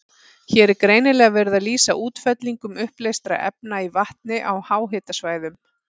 Hér er greinilega verið að lýsa útfellingum uppleystra efna í vatni á háhitasvæðum.